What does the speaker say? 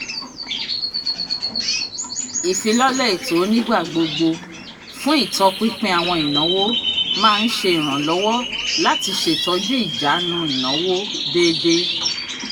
ìfilọ́lẹ̀ ètò ó nígbà gbogbo fún ìtọpinpin àwọn ìnáwó máa ń ṣe ìrànlọ́wọ́ láti ṣètọ́jú ìjánu ìnáwó déédé.